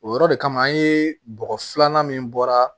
O yɔrɔ de kama an ye bɔgɔ filanan min bɔra